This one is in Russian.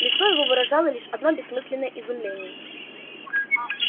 лицо его выражало лишь одно бессмысленное изумление